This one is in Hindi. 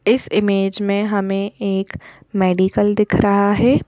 इस इमेज में हमें एक मेडिकल दिख रहा है।